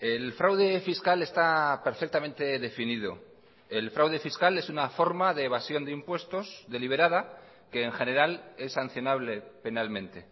el fraude fiscal está perfectamente definido el fraude fiscal es una forma de evasión de impuestos deliberada que en general es sancionable penalmente